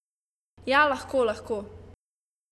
Ja, lahko, lahko ...